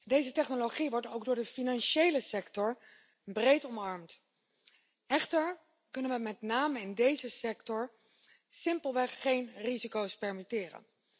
Deze technologie wordt ook door de financiële sector breed omarmd. We kunnen ons echter met name in deze sector simpelweg geen risico's permitteren.